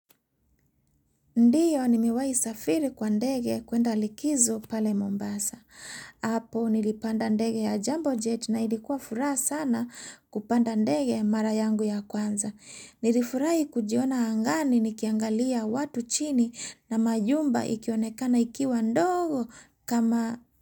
Ndio ni mewai safiri kwa ndege kuenda likizo pale Mombasa. Apo nilipanda ndege ya jambo jet na ilikua furaha sana kupanda ndege marayangu ya kwanza. Nilifurai kujiona angani nikiangalia watu chini na majumba ikionekana ikiwa ndogo kama.